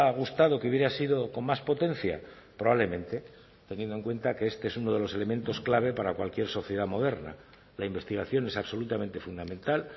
gustado que hubiera sido con más potencia probablemente teniendo en cuenta que este es uno de los elementos clave para cualquier sociedad moderna la investigación es absolutamente fundamental